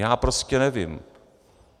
Já prostě nevím.